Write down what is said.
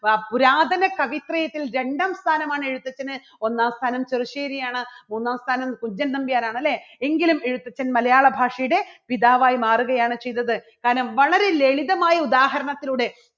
വാ പുരാതന കവിത്രയത്തിൽ രണ്ടാം സ്ഥാനമാണ് എഴുത്തച്ഛന് ഒന്നാം സ്ഥാനം ചെറുശേരിയാണ് മൂന്നാം സ്ഥാനം കുഞ്ചൻ നമ്പ്യാരാണ് അല്ലേ. എങ്കിലും എഴുത്തച്ഛൻ മലയാളഭാഷയുടെ പിതാവായി മാറുകയാണ് ചെയ്തത്. കാരണം വളരെ ലളിതമായ ഉദാഹരണത്തിലൂടെ